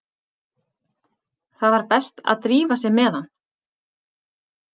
Það var best að drífa sig með hann.